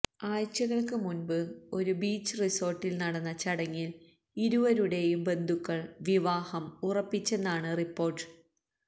ആഴ്ചകൾക്ക് മുൻപ് ഒരു ബീച്ച് റിസോര്ട്ടില് നടന്ന ചടങ്ങില് ഇരുവരുടെയും ബന്ധുക്കൾ വിവാഹം ഉറപ്പിച്ചെന്നാണ് റിപ്പോര്ട്ട്